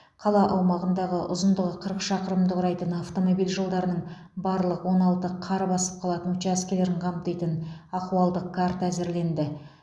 қала аумағында ұзындығы қырық шақырымды құрайтын автомобиль жолдарының барлық он алты қар басып қалатын учаскелерін қамтитын ахуалдық карта әзірленді